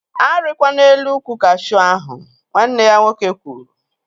A rikwana elu ukwu kashuu ahụ! Nwanne ya nwoke kwuru